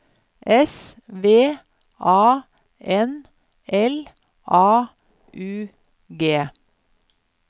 S V A N L A U G